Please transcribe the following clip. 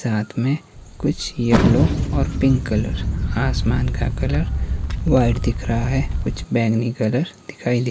साथ में कुछ येल्लो और पिंक कलर आसमान का कलर व्हाइट दिख रहा है कुछ बैंगनी कलर दिखाई दे --